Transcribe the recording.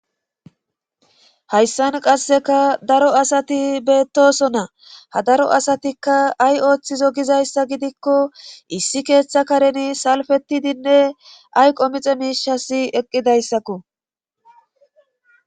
hayssan qasseka daro asati beettoosona;ha daro asatikka ay ooththizo gizayssa gidikko issi keeta kareni salpettidinne ayqomice miishasi eqqidaysakko.